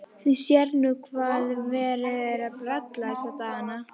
Þú sérð nú hvað verið er að bralla þessa dagana.